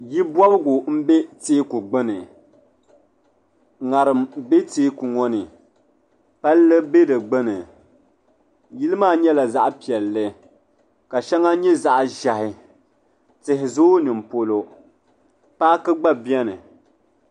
Yili bɔbigu m-be teeku gbuni ŋariŋ be teeku ŋɔ ni palli be di gbuni yili maa nyɛla zaɣ'piɛlli ka shɛŋa nyɛ zaɣ'ʒɛhi tihi zooi ni polo paaki gba beni.